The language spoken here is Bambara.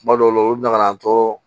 Kuma dɔw la olu bɛ na ka na an tɔɔrɔ